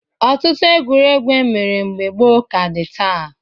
Ọtụtụ egwuregwu e mere mgbe gboo ka dị taa.